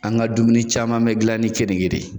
An ka dumuni caman bi gilan ni keninge de ye